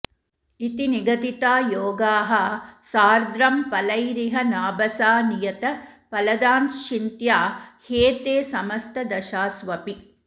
इति निगदिता योगाः सार्द्धं फलैरिह नाभसा नियत फलदाश्चिन्त्या ह्येते समस्तदशास्वपि